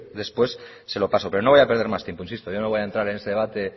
después se lo paso pero no voy a perder más tiempo insisto yo no voy a entrar en ese debate